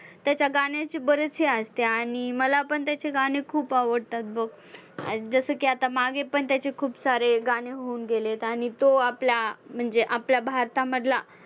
त्याच्या गाण्याचे बरेचशे आणि मला पण त्याचे गाणे खूप आवडतात बघ. जसं की मागे पण त्याचे खूप सारे गाणे होऊन गेलेत आणि तो आपला म्हणजे आपला भारतामधला